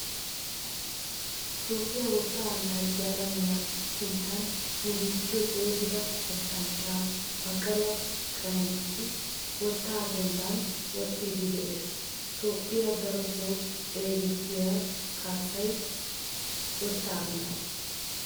Toophphiyan wotta anaciyan alamiya sinttan nu biittiyo xeegida wottanchcha baqala qaninisiwotta denban woxxidi de'ees. Toophphe daroto xeegettiyi kaasay wotta annacciya.